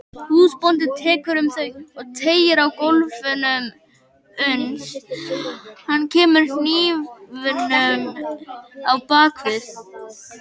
Húsbóndinn tekur um þau og teygir á kólfunum uns hann kemur hnífnum á bak við.